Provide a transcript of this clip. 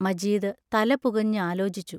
മജീദ് തല പുകഞ്ഞ് ആലോചിച്ചു.